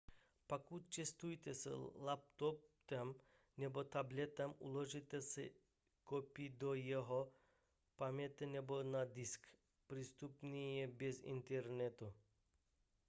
pokud cestujete s laptopem nebo tabletem uložte si kopii do jeho paměti nebo na disk přístupné i bez internetu